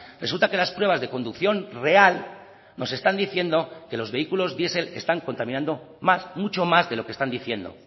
resulta que las pruebas de conducción real nos están diciendo que los vehículos diesel están contaminando más mucho más de lo que están diciendo